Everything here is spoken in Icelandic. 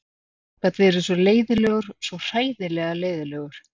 Hann gat verið svo leiðinlegur, svo hræðilega leiðinlegur.